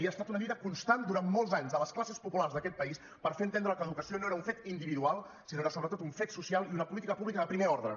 i ha estat una lluita constant durant molts anys de les classes populars d’aquest país per fer entendre que l’educació no era un fet individual sinó que era sobretot un fet social i una política pública de primer ordre